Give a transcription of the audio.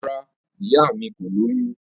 Rara, iya mi ko loyun.